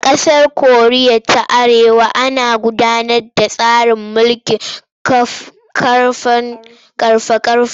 A ƙasar Koriya ta Arewa ana gudanar da tsarin mulkin ƙarfa-ƙarfa.